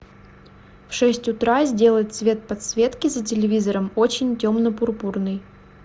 в шесть утра сделать цвет подсветки за телевизором очень темно пурпурный